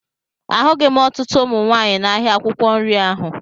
Ahụghị m ọtụtụ ụmụ nwaanyị n'ahịa akwụkwọ nri ahụ